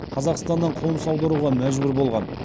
қазақстаннан қоныс аударуға мәжбүр болған